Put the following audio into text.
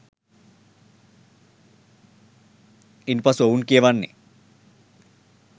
ඉන් පසු ඔවුන් කියවන්නේ